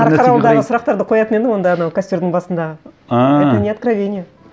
қарқаралыдағы сұрақтарды қоятын едім онда анау костердің басындағы ааа это не откровение